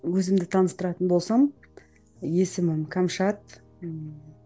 өзімді таныстыратын болсам есімім кәмшат ыыы